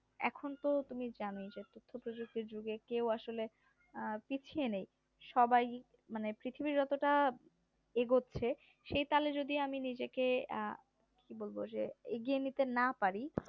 এখন তো তুমি জানোই যে ছোট ছোট যুগে কেউ আসলে পিছিয়ে নেই সবাই মানে পৃথিবীর অতটা এগোচ্ছে সেই তালে যদি আমি নিজেকে বলব যে এগিয়ে নিতে না পারি